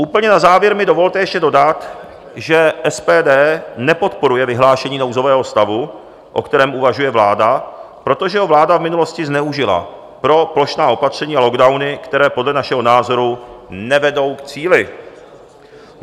Úplně na závěr mi dovolte ještě dodat, že SPD nepodporuje vyhlášení nouzového stavu, o kterém uvažuje vláda, protože ho vláda v minulosti zneužila pro plošná opatření a lockdowny, které podle našeho názoru nevedou k cíli.